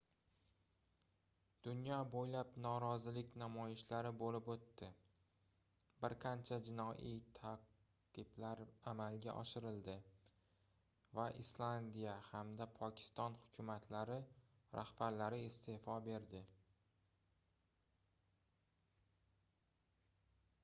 dunyo boʻylab norozilik namoyishlari boʻlib oʻtdi bir qancha jinoiy taʼqiblar amalga oshirildi va islandiya hamda pokiston hukumatlari rahbarlari isteʼfo berdi